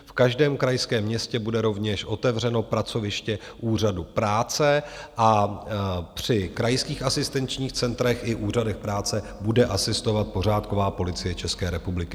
V každém krajském městě bude rovněž otevřeno pracoviště Úřadu práce a při krajských asistenčních centrech i úřadech práce bude asistovat pořádková Policie České republiky.